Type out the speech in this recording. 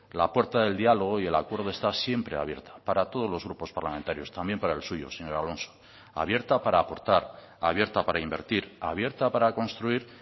la puerta del diálogo y el acuerdo está siempre abierta para todos los grupos parlamentarios también para el suyo señor alonso abierta para aportar abierta para invertir abierta para construir